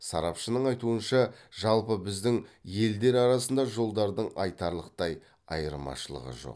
сарапшының айтуынша жалпы біздің елдер арасында жолдардың айтарлықтай айырмашылығы жоқ